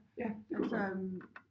Ja det kan vi godt